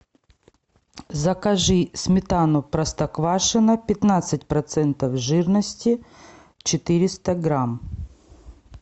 закажи сметану простоквашино пятнадцать процентов жирности четыреста грамм